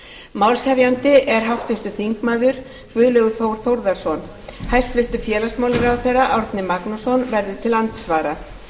málshefjandi er háttvirtur þingmaður guðlaugur þór þórðarson hæstvirts félagsmálaráðherra árni magnússon verður til andsvara